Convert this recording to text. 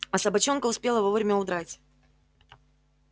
а собачонка успела вовремя удрать